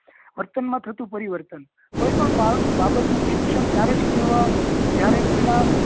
વર્તન માં થતું પરિવર્તન કોઈ પણ બાળક બાબત નું શિક્ષણ ત્યારે જ કેવાય જયારે પેલા